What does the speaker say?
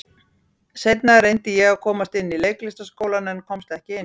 Seinna reyndi ég að komast inn í Leiklistarskólann, en ég komst ekki inn.